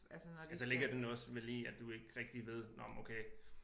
Ja så ligger den vel også i at du ikke rigtig ved nåh men okay